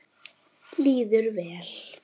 Líður vel.